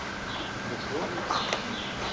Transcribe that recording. Bo šlo?